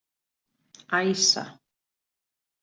Æsa